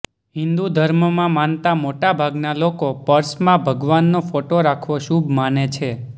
હિન્દુ ધર્મમાં માનતા મોટાભાગના લોકો પર્સમાં ભગવાનનો ફોટો રાખવો શુભ માને છે